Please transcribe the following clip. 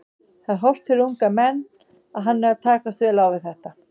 Það er hollt fyrir unga menn og hann er að takast vel á þetta.